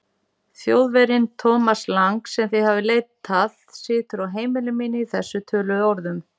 Þjóðverjinn, Thomas Lang, sem þið hafið leitað, situr á heimili mínu í þessum töluðu orðum.